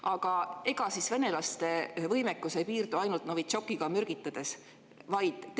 Aga ega siis venelaste võimekus ei piirdu ainult Novitšokiga mürgitamisega.